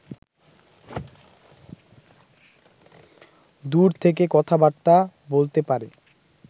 দূর থেকে কথাবার্তা বলতে পারে